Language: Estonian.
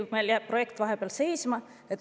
Või jääb see projekt vahepeal seisma?